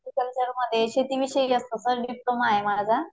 ऍग्रीकल्चरमध्ये शेतीविषयी असतं, sir diploma आहे माझा.